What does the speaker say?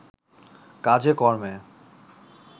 কাজে-কর্মে